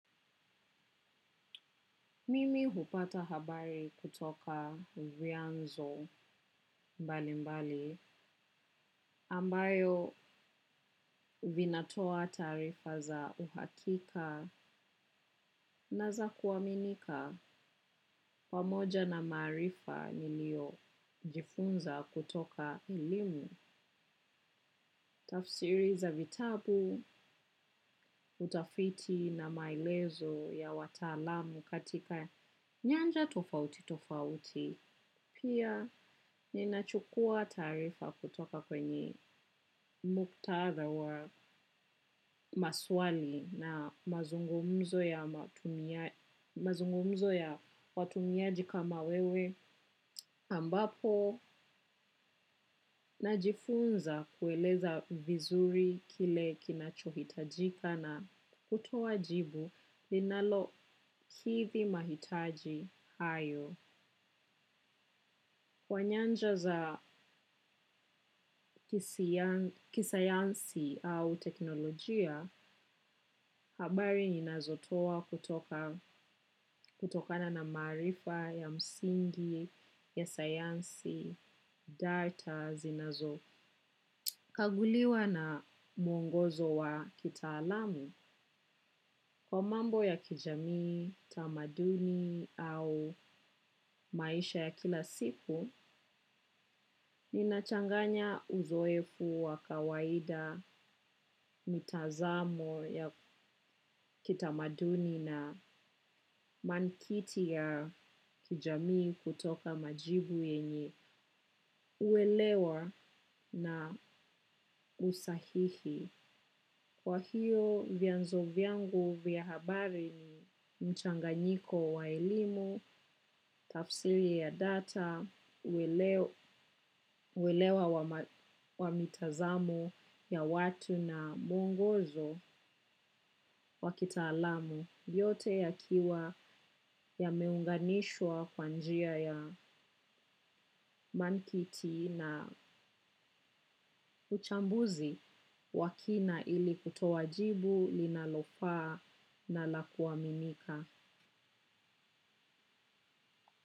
Mimi hupata habari kutoka vianzo mbali mbali ambayo vinatoa taarifa za uhakika na zakuaminika pamoja na marifa nilio jifunza kutoka elimu. Tafsiri za vitabu utafiti na maelezo ya wataalamu katika nyanja tofauti tofauti. Pia ninachukua tarifa kutoka kwenye muktadha wa maswali na mazungumzo ya mazungumzo ya watumiaji kama wewe ambapo najifunza kueleza vizuri kile kinachuhitajika na kutuoa jibu linalo kidhi mahitaji hayo. Kwa nyanja za kisayansi au teknolojia, habari ninazotoa kutokana na marifa ya msingi, ya sayansi, data, zinazo. Kaguliwa na muongozo wa kitaalamu. Kwa mambo ya kijamii, tamaduni au maisha ya kila siku, inachanganya uzoefu wa kawaida, mitazamo ya kitamaduni na mankiti ya kijamii kutoka majibu yenye uelewa na usahihi. Kwa hiyo vyanzo vyangu vya habari ni mchanganyiko wa elimu, tafsiri ya data, uwelewa wamitazamo ya watu na muongozo wakitaalamu. Yote yakiwa yameunganishwa kwa njia ya mankiti na uchambuzi wa kina ili kutoa jibu linalofaa na la kuaminika.